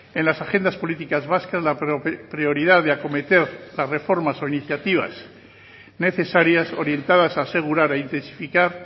en las agendas políticas vascas la prioridad de acometer las reformas o iniciativas necesarias orientadas a asegurar a intensificar